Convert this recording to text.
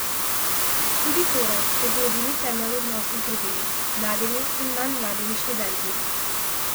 Študij Tore je bil edini temelj odnosov z drugimi, mladimi in manj mladimi študenti.